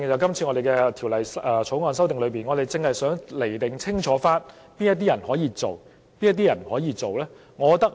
因此，《條例草案》的修訂，是清楚釐定哪些人可以、哪些人不可以進行工程。